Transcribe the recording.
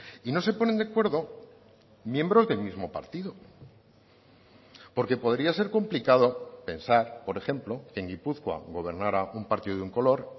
y no se ponen de acuerdo miembros del mismo partido porque podría ser complicado pensar por ejemplo en gipuzkoa gobernara un partido de un color